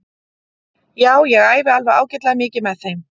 Já ég æfi alveg ágætlega mikið með þeim.